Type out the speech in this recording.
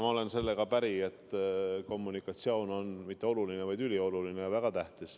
Ma olen sellega päri, et kommunikatsioon pole mitte lihtsalt oluline, vaid ülioluline ja väga tähtis.